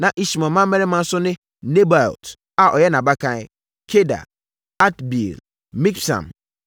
Na Ismael mmammarima nso ne Nebaiot a ɔyɛ nʼabakan, Kedar, Adbeel, Mibsam,